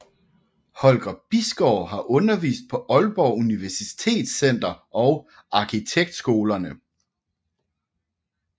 Holger Bisgaard har undervist på Aalborg Universitetscenter og arkitektskolerne